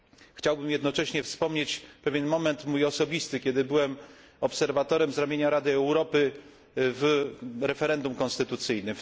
Chciałbym jednocześnie wspomnieć mój pewien osobisty moment, kiedy byłem obserwatorem z ramienia Rady Europy w referendum konstytucyjnym.